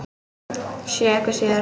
Sé ykkur síðar.